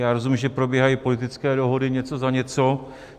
Já rozumím, že probíhají politické dohody něco za něco.